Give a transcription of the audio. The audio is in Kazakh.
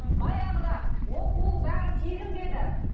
баяғыда оқуың бәрі тегін бе еді